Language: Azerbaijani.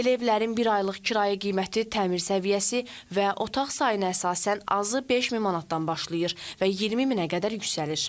Belə evlərin bir aylıq kirayə qiyməti, təmir səviyyəsi və otaq sayına əsasən azı 5000 manatdan başlayır və 20000-ə qədər yüksəlir.